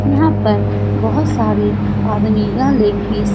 यहां पर बहुत सारे आदमी यह लैग पीस --